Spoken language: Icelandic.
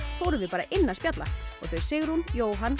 fórum við bara inn að spjalla og þau Sigrún Jóhann